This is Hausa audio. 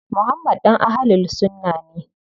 Muhammad ɗan Ahlul sunna ne.